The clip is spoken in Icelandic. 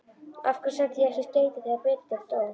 Af hverju sendi ég ekki skeyti þegar Benedikt dó?